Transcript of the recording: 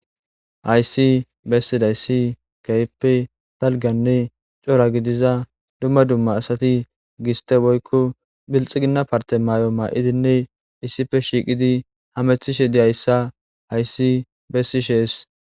Haysi bessi dayssi kaype talganne cora gidiza dumma dumma asati giste boykko bilxi ginna parte may'o maa'idinne issife shiiqidi hamethishe diyayssa haysi bessishees.